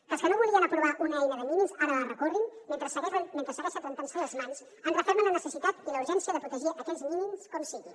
que els que no volien aprovar una eina de mínims ara la recorrin mentre segueixen rentant se’n les mans ens referma en la necessitat i la urgència de protegir aquells mínims com sigui